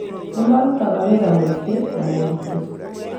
Nĩmarutaga wĩra muingĩ na mũritũ